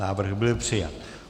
Návrh byl přijat.